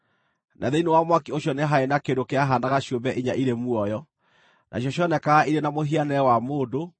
na thĩinĩ wa mwaki ũcio nĩ haarĩ kĩndũ kĩahaanaga ciũmbe inya irĩ muoyo, nacio cionekaga irĩ na mũhianĩre wa mũndũ,